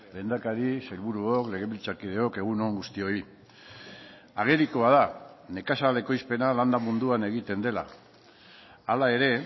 lehendakari sailburuok legebiltzarkideok egun on guztioi agerikoa da nekazal ekoizpena landa munduan egiten dela hala ere